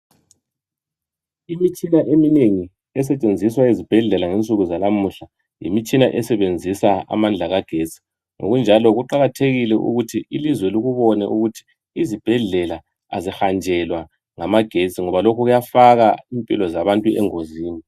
Imitshina eminengi esetshenziswa ezibhedlela ngensuku zanamuhla yimitshina esebenzisa amandla kagetsi ngokunjalo kuqakathekile ukuthi ilizwe likubone ukut izibhedlela azihanjelwa ngamagetsi ngoba lokhu kuyafaka impilo zabantu engozini